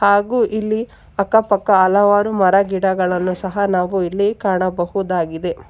ಹಾಗೂ ಇಲ್ಲಿ ಅಕ್ಕ ಪಕ್ಕ ಹಲವರು ಮರ ಗಿಡಗಳನ್ನು ಸಹ ನಾವು ಇಲ್ಲಿ ಕಾಣಬಹುದಾಗಿದೆ.